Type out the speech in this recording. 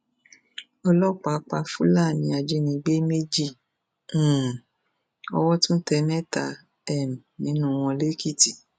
ọlọpàá pa fúlàní ajínigbé méjì um owó tún tẹ mẹta um nínú wọn lẹkìtì